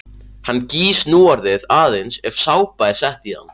Hann gýs núorðið aðeins ef sápa er sett í hann.